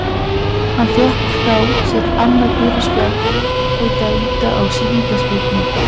Hann fékk þá sitt annað gula spjald og dæmda á sig vítaspyrnu.